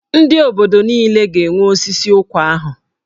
Ndị obodo niile ga-enwe osisi ụkwa ahụ.